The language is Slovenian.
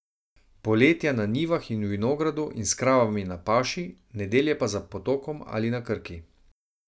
Poletja na njivah in v vinogradu in s kravami na paši, nedelje pa za potokom ali na Krki.